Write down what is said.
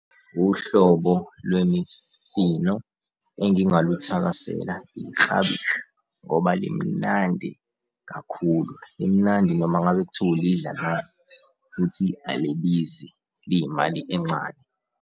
Uhlobo lwemifino engingaluthakasela, iklabishi ngoba limnandi kakhulu. Limnandi noma ngabe kuthiwa ulidla nani, futhi, alibizi, liyimali encane.